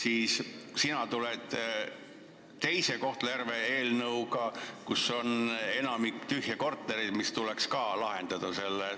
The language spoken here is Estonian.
Ja sina tulid saali teise Kohtla-Järve eelnõuga – selles linnas on enamik tühje kortereid, mille saatus tuleks ära otsustada.